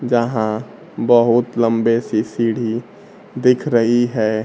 जहां बहुत लम्बे सी सीढ़ी दिख रही है।